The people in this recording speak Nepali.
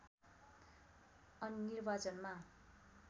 अनि निर्वाचनमा